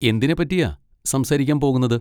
എന്തിനെപ്പറ്റിയാ സംസാരിക്കാൻ പോകുന്നത്?